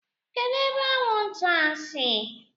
Kedu ebe anwụ nta a si?